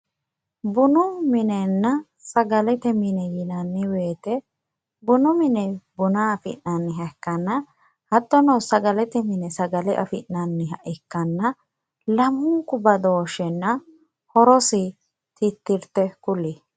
bunu minenna sagalete mine yinanni woyiite bunu mini buna afi'nanniha ikkanna hartono sagalete mini sagale afi'nanniha ikkanna lamunku badooshshenna horose tittirte kulie.